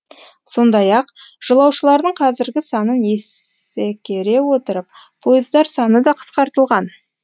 сондай ақ жолаушылардың қазіргі санын есекере отырып пойыздар саны қысқартылған